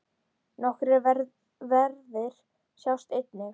Nokkrir verðir sjást einnig.